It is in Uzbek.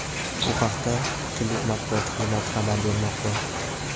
Bu haqda klub Matbuot xizmati xabar bermoqda.